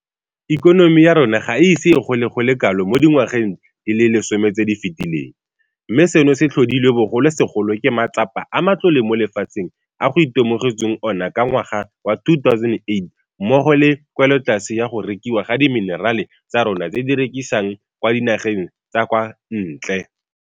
Ikonomi ya rona ga e ise e gole go le kalo mo dingwageng di le lesome tse di fetileng, mme seno se tlhodilwe bogolosegolo ke matsapa a matlole mo lefatsheng a go itemogetsweng ona ka ngwaga wa 2008 mmogo le kwelotlase ya go rekiwa ga dimenerale tsa rona tse re di rekisang kwa dinageng tsa kwa ntle.